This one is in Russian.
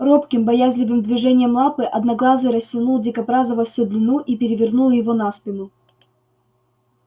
робким боязливым движением лапы одноглазый растянул дикобраза во всю длину и перевернул его на спину